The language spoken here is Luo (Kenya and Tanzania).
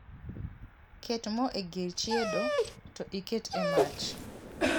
Ket moo e gir chiedo to iket e mach